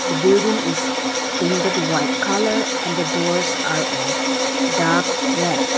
building is painted white colour and the doors are of dark red.